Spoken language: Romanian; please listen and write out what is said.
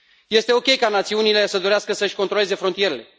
Este ok ca națiunile să dorească să își controleze frontierele.